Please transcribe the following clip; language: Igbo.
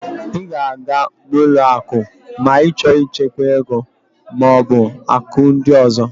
Ị ga-aga n'ụlọ akụ ma ị chọọ ichekwa ego maọbụ akụ ndị ọzọ